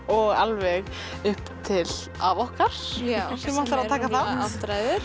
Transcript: og alveg upp til afa okkar sem ætlar að taka þátt það